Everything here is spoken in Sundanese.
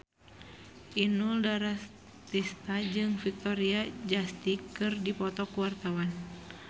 Inul Daratista jeung Victoria Justice keur dipoto ku wartawan